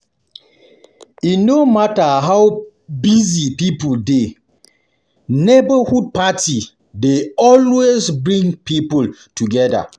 E no matter how busy people dey, neighborhood party dey always um bring um bring people together.